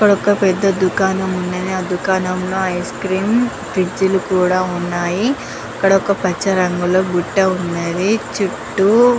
ఇక్కడ ఒక పెద్ద దుకాణం ఉన్నది ఆ దుకాణం లో ఐస్ క్రీం ఫ్రిడ్జిలు కూడా ఉన్నాయి ఇక్కడ ఒక పచ్చ రంగు లో బుట్ట ఉన్నది చుట్టూ --